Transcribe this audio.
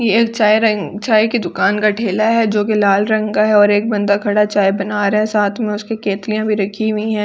यह चायरंग चाय की दुकान का ठेला है जो की लाल रंग का है और एक बंदा खड़ा चाय बना रहा साथ में उसकी केतलियां भी रखी हुई हैं पीछे --